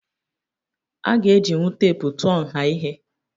Aga ejinwu teepu tụọ nha ihe.